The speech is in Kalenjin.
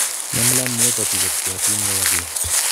Nemaline myopathy kopcheatin koyap lo